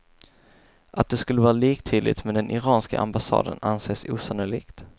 Att det skulle vara liktydigt med den iranska ambassaden anses osannolikt.